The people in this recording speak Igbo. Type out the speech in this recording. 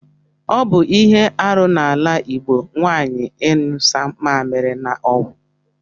Ọbụ ihe arụ na ala igbo nwanyi inyụsa mamili na ọgwụ.